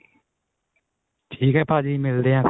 ਠੀਕ ਏ ਭਾਜੀ ਮਿਲਦੇ ਆਂ ਫੇਰ